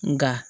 Nka